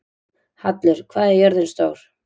Hallur, hvað er jörðin stór?